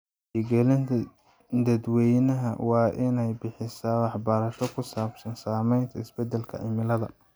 Wacyigelinta dadweynaha waa in ay bixisaa waxbarasho ku saabsan saamaynta isbeddelka cimilada.